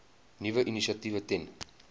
nuwe initiatiewe ten